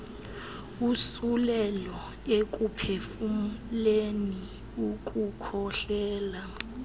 usulelo ekuphefumleni ukukhohlela